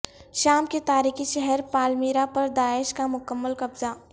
شام کے تاریخی شہر پالمیرہ پر داعش کا مکمل قبضہ